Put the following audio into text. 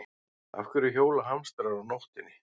Af hverju hjóla hamstrar á nóttinni?